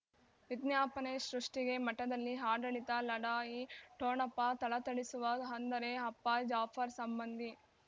ವಿಜ್ಞಾಪನೆ ಸೃಷ್ಟಿಗೆ ಮಠದಲ್ಲಿ ಆಡಳಿತ ಲಢಾಯಿ ಠೋಣಪ ಥಳಥಳಿಸುವ ಅಂದರೆ ಅಪ್ಪ ಜಾಫರ್ ಸಂಬಂಧಿ